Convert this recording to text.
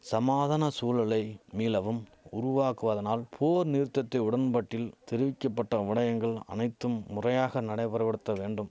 சமாதான சூழலை மீளவும் உருவாக்குவதனால் போர் நிறுத்தத்தை உடன்பட்டில் தெரிவிக்க பட்ட விடயங்கள் அனைத்தும் முறையாக நடைமுறைபடுத்த வேண்டும்